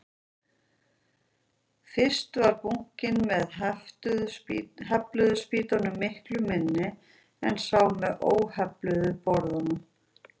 Fyrst var bunkinn með hefluðu spýtunum miklu minni en sá með óhefluðu borðunum.